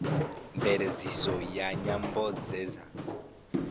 mveledziso ya nyambo dze dza